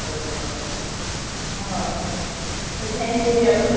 ஆஹா. இந்த Bel பூரி, அதுவும் தருவாங்களா? அந்த மாதிரியும்?